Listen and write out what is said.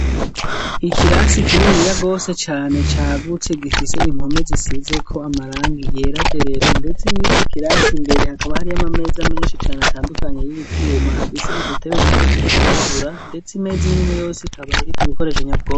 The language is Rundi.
Ikirasi kininiya gose cane cagutse gifise impome zisizeko amarangi yera derere ndetse mu'ico kirasi mbere hakaba hari y'amameza menshi cane atandukanye y'ivyuma afise udutebe duto duto twirabura ndetse imeza iminwe yose ikaba iriko ibikoresho nyabwonko.